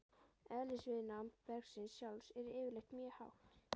Eðlisviðnám bergsins sjálfs er yfirleitt mjög hátt.